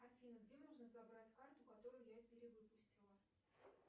афина где можно забрать карту которую я перевыпустила